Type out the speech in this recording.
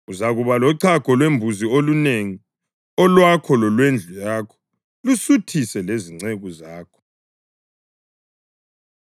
Uzakuba lochago lwembuzi olunengi olwakho lolwendlu yakho lusuthise lezinceku zakho.